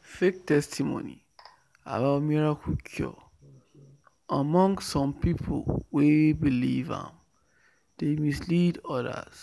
fake testimony about miracle cure among some people wey believe am dey mislead others